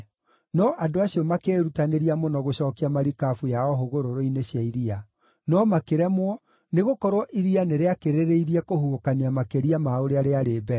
No andũ acio makĩĩrutanĩria mũno gũcookia marikabu yao hũgũrũrũ-inĩ cia iria. No makĩremwo, nĩgũkorwo iria nĩrĩakĩrĩrĩirie kũhuhũkania makĩria ma ũrĩa rĩarĩ mbere.